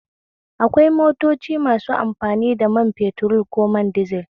Akwai motoci masu amfani da man fetur ko man dizel